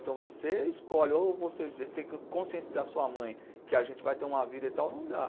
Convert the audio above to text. Então você escolhe, ou a gente tem que conscientizar a sua mãe que a gente vai ter uma vida e tal, não dá.